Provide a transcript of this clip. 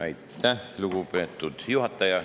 Aitäh, lugupeetud juhataja!